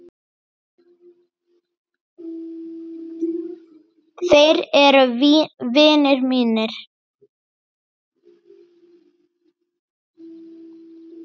Þeir eru vinir mínir.